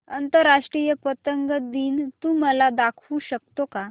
आंतरराष्ट्रीय पतंग दिन तू मला दाखवू शकतो का